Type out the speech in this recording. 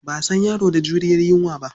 Ba a san yaro da juriyar yunwa ba.